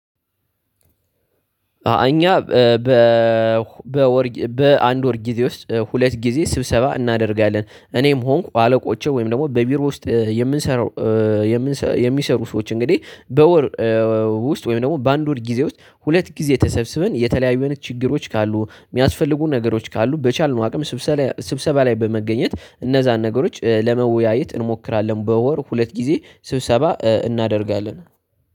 እኛ በ በ በሁ በአንድ ወር ጊዜ ውስጥ ሁለት ጊዜ ስብሰባ እናደርጋለን እኔም ሆንኩ አለቆቼ ወይም ደግሞ በቢሮ ውስጥ የምንሰራው የሚሰሩ ሰዎች እንግዲህ በወር ውስጥ ወይም ደግሞ በአንድ ወር ጊዜ ውስጥ ሁለት ጊዜ ተሰብስበን የተለያዩ አይነት ችግሮች ካሉ የሚያስፈልጉ ነገሮች ካሉ በቻልነው አቅም ስብሰባ ላ ስብሰባ ላይ በመገኘት እነዛን ነገሮች ለመወያየት እንሞክራለን በወር ሁለት ጊዜ ስብሰባ እናደርጋለን